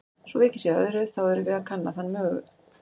Svo vikið sé að öðru, þá erum við að kanna þann mögu